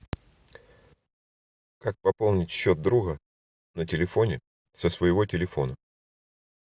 как пополнить счет друга на телефоне со своего телефона